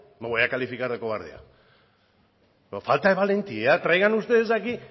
no voy a calificar de cobardía pero falta de valentía traigan ustedes aquí